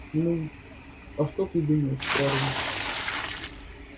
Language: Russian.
ну а что ты думаешь парень